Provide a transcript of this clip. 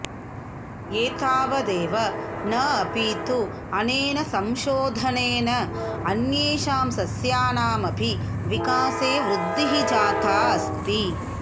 एतावदेव न अपि तु अनेन संशोधनेन अन्येषां सस्यानाम् अपि विकासे वृद्धिः जाता अस्ति